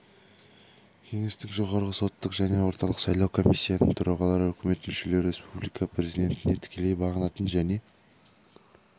кеңестің жоғарғы соттың және орталық сайлау комиссиясының төрағалары үкімет мүшелері республика президентіне тікелей бағынатын және